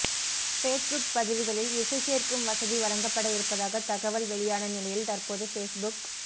Facebook பதிவுகளில் இசை சேர்க்கும் வசதி வழங்கப்பட இருப்பதாக தகவல் வெளியான நிலையில் தற்போது ஃபேஸ்புக